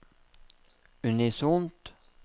unisont